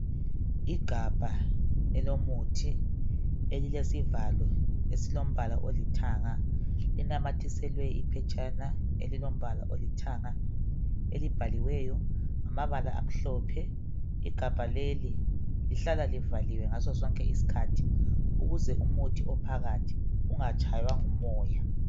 Igabha elomuthi elilesivalo esilombala olithanga linanyathiselwe iphetshana elilombala olithanga, elibhaliweyo ngamabala amhlophe. Igabha leli lihlala livaliwe ngaso sonke isikhathi ukuze umuthi ophakathi ungatshaywa ngumoya.